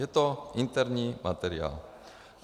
Je to interní materiál.